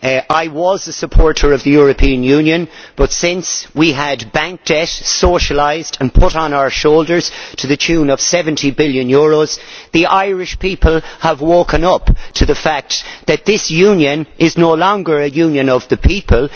I was a supporter of the European Union, but since we had bank debt socialised and put on our shoulders to the tune of EUR 70 billion, the Irish people have woken up to the fact that this Union is no longer a Union of the people.